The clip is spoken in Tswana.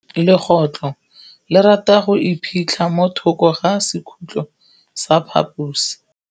Legôtlô le rata go iphitlha mo thokô ga sekhutlo sa phaposi.